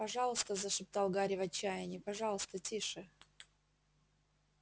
пожалуйста зашептал гарри в отчаянии пожалуйста тише